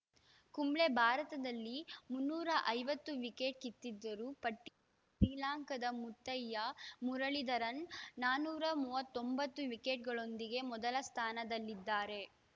ಕುಂಬ್ಳೆ ಭಾರತದಲ್ಲಿ ಮುನ್ನೂರ ಐವತ್ತು ವಿಕೆಟ್‌ ಕಿತ್ತಿದ್ದರು ಪಟ್ಟಿ ಶ್ರೀಲಂಕಾದ ಮುತ್ತಯ್ಯ ಮುರಳಿಧರನ್‌ ನಾಲ್ಕುನೂರ ಮೂವತ್ತ್ ಒಂಬತ್ತು ವಿಕೆಟ್‌ಗಳೊಂದಿಗೆ ಮೊದಲ ಸ್ಥಾನದಲ್ಲಿದ್ದಾರೆ